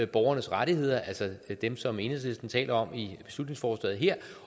borgernes rettigheder altså dem som enhedslisten taler om i beslutningsforslaget her